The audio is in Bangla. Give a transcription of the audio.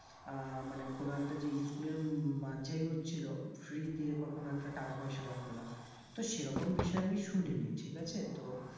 আহ মানে কোনো একটা যে school এর মাঝে হচ্ছিলো free তে বা কোনো একটা টাকা পয়সা লাগবে না তো সেরকম বিষয় আমি শুনিনি নি ঠিক আছে তো